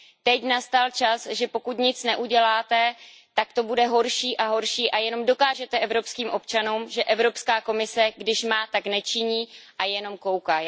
Teď nastal čas, že pokud nic neuděláte, tak to bude horší a horší a jenom dokážete evropským občanům, že Evropská komise když má, tak nečiní a jenom kouká.